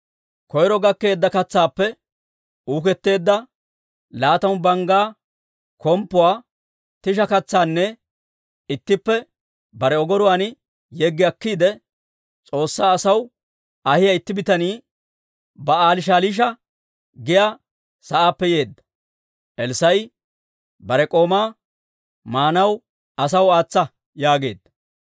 Koyro gakkeedda katsaappe uuketteedda laatamu, banggaa komppuwaa, tisha katsanna ittippe bare ogoruwaan yeggi akkiide, S'oossaa asaw ahiyaa itti bitanii Ba'aali-Shaliisha giyaa sa'aappe yeedda. Elssaa'i bare k'oomaa, «Maanaw asaw aatsa» yaageedda.